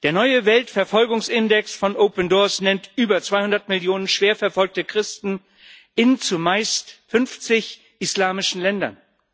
Der neue Weltverfolgungsindex von Open Doors nennt über 200 Millionen schwer verfolgte Christen, in 50 zumeist islamischen Ländern.